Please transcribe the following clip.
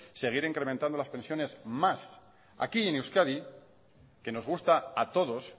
seguir incrementando las pensiones más aquí en euskadi que nos gusta a todos